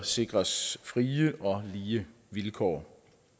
sikres frie og lige vilkår